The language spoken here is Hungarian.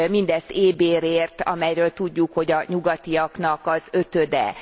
Mindezt éhbérért, amelyről tudjuk, hogy a nyugatiaknak az ötöde.